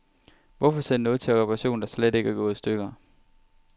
Hvorfor sende noget til reparation, der slet ikke er gået i stykker.